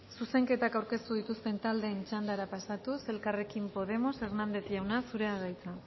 zuzenketak aurkeztu dituzten taldeen txandara pasatuz elkarrekin podemos hernández jauna zurea da hitza